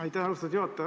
Aitäh, austatud juhataja!